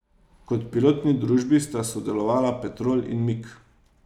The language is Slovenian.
Kot pilotni družbi sta sodelovala Petrol in Mik.